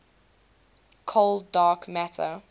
cold dark matter